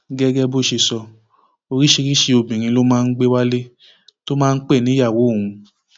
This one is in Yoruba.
gẹgẹ bó ṣe sọ oríṣiríṣiì obìnrin ló máa ń gbé wálé tó máa ń pẹ níyàwó òun